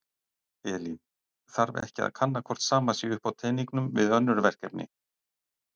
Elín: Þarf ekki að kanna hvort sama sé upp á teningnum við önnur verkefni?